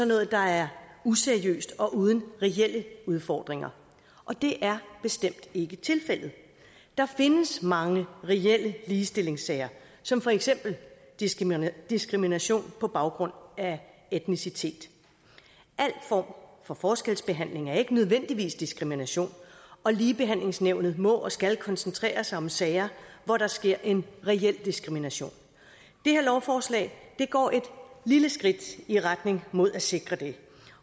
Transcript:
noget der er useriøst og uden reelle udfordringer og det er bestemt ikke tilfældet der findes mange reelle ligestillingssager som for eksempel diskrimination diskrimination på baggrund af etnicitet al form for forskelsbehandling er ikke nødvendigvis diskrimination og ligebehandlingsnævnet må og skal koncentrere sig om sager hvor der sker en reel diskrimination det her lovforslag går et lille skridt i retning mod at sikre det